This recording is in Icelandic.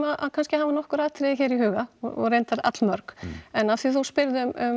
kannski að hafa nokkur atriði hér í huga og reyndar allmörg en af því þú spyrð um